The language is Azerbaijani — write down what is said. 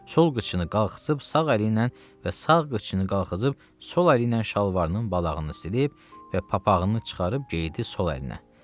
Sol qıçını qalxızıb sağ əli ilə və sağ qıçını qalxızıb sol əli ilə şalvarının balağını silib və papağını çıxarıb geydi sol əlinə.